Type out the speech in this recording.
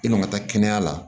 E man ka taa kɛnɛya la